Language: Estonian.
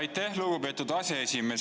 Aitäh, lugupeetud aseesimees!